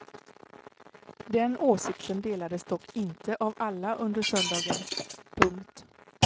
Den åsikten delades dock inte av alla under söndagen. punkt